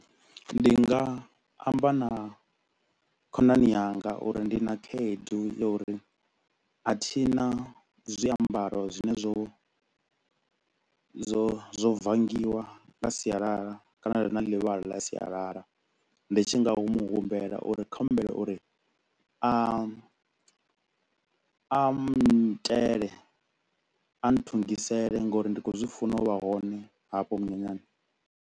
Ndi nga amba na khonani yanga uri ndi na khaedu ya uri a thina zwiambaro zwine zwo zwo zwo bvangiwa nga sialala kana zwi na ḽivhala ḽa sialala ndi tshi nga hu muhumbela uri ndi kho u humbela uri a a nnyitele, a nthungisele ngauri ndi kho u zwi funa u vha hone hafho munyanyani